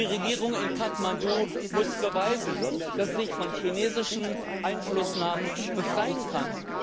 Die Regierung in Kathmandu muss beweisen, dass sie sich von chinesischen Einflussnahmen befreien kann.